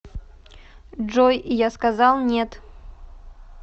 джой я сказал нет